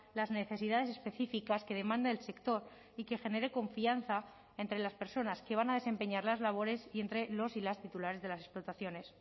las necesidades específicas que demanda el sector y que genere confianza entre las personas que van a desempeñar las labores y entre los y las titulares de las explotaciones